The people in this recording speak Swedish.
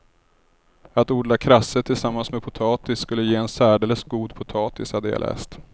Att odla krasse tillsammans med potatis skulle ge en särdeles god potatis, hade jag läst.